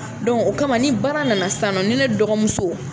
o kama ni baara nana sisan nɔ ni ne dɔgɔmuso